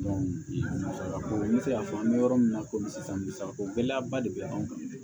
n bɛ se k'a fɔ an bɛ yɔrɔ min na komi sisan misa ko gɛlɛya ba de bɛ anw kan